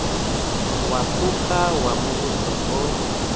wa phukha wa muvhuso o